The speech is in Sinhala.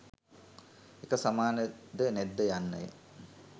එක සමාන ද නැද්ද යන්න ය.